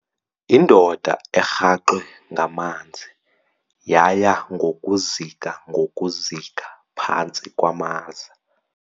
Indoda erhaxwe ngamanzi yaya ngokuzika ngokuzika phantsi kwamaza.